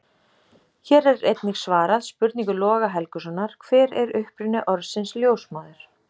Hér er einnig svarað spurningu Loga Helgusonar: Hver er uppruni orðsins ljósmóðir?